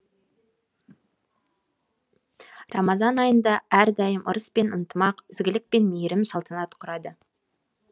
рамазан айында әрдайым ырыс пен ынтымақ ізгілік пен мейірім салтанат құрады